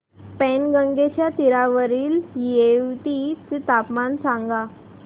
पैनगंगेच्या तीरावरील येवती चे तापमान सांगा